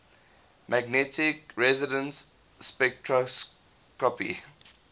magnetic resonance spectroscopy